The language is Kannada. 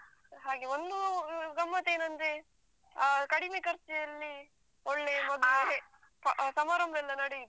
ಹಾಗೆ ಒಂದು ಅಹ್ ಗಮ್ಮತ್ ಏನಂದ್ರೆ ಅಹ್ ಕಡಿಮೆ ಖರ್ಚಲ್ಲಿ ಒಳ್ಳೆ ಮದುವೆ ಸಮಾರಂಭಯೆಲ್ಲ ನಡೆಯಿತು.